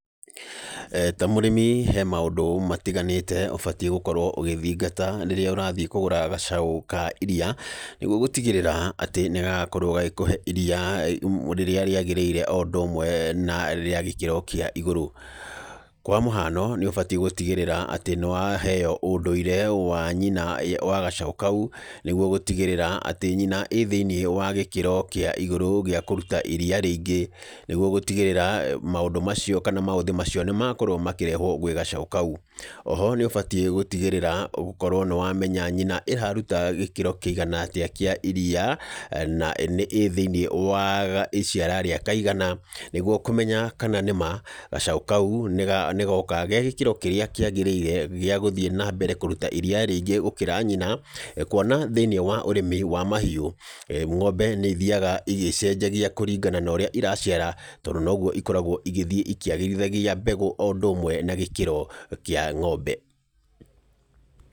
Ta mũrĩmi he maũndũ matiganĩte, ũbatiĩ gũkorwo ũgĩthingata rĩrĩa ũrathiĩ kũgũra gacaũ ka iriia, nĩguo gũtigĩrĩra atĩ nĩ gagakorwo gagĩkũhe iriia rĩrĩa rĩagĩrĩre o ũndũ ũmwe na rĩa gĩkĩro kĩa igũrũ. Kwa mũhano, nĩ ũbatiĩ gũtigĩrĩra atĩ nĩ waheo ũndũire wa nyina wa gacaũ kau, nĩguo gũtigĩrĩra atĩ nyina ĩĩ thĩiniĩ wa gĩkĩro kĩa igũrũ gĩa kũruta iriia rĩingĩ, nĩguo gũtigĩrĩra maũndũ macio kana maũthĩ macio nĩ makorwo makĩrehwo gwĩ gacaũ kau. Oho nĩ ũbatiĩ gũtigĩrĩra gũkorwo nĩ wamenya nyina ĩraruta gĩkĩro kĩigana atĩa kĩa iriia, na nĩ ĩĩ thĩiniĩ wa iciara rĩa kaigana, nĩguo kũmenya kana nĩma gacaũ kau nĩ goka ge gĩkĩro kĩrĩa kĩagĩrĩire gĩa gũthiĩ na mbere kũruta iriia rĩingĩ gũkĩra nyina. Kuona thĩiniĩ wa ũrĩmi wa mahiũ, ng'ombe nĩ ithiaga igĩcenjagia kũringana na ũrĩa iraciara, tondũ noguo ikoragwo igĩthiĩ ĩkĩagĩrithagia mbegũ o ũndũ ũmwe na gĩkĩro kĩa ng'ombe.